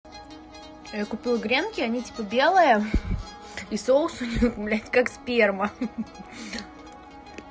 я купила гренки они типа белые и соус у них блядь как сперма